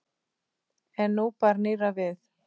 En nú bar nýrra við.